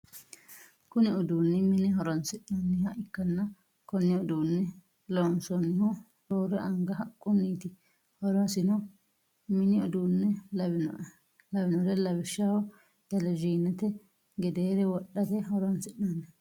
Kunni uduunni minne horoonsi'nanniha ikanna konne uduune loonsoonnihu roore anga haqunniiti horosino minni uduune lawinore lawishaho televisionete gedeere wodhate horoonsi'nanni